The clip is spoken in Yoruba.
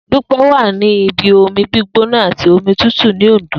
Dupe wà ní ibi omi gbígbóná àti omi tútù ní Òndó